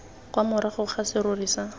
kwa morago fa serori sa